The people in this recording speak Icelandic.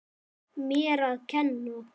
Mér að kenna!